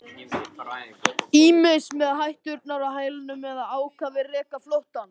Ýmist með hætturnar á hælunum eða ákafir rekum flóttann.